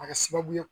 A kɛra sababu ye